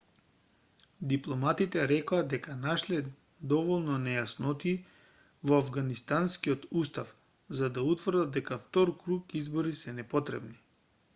дипломатите рекоа дека нашле доволно нејаснотии во авганистанскиот устав за да утврдат дека втор круг избори се непотребни